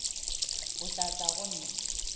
o tla tla go nna